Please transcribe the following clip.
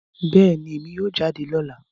Bẹẹni, Emi yoo jade lọla